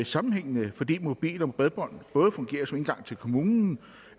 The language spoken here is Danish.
sammenhængende fordi mobil og bredbånd både fungerer som indgang til kommunen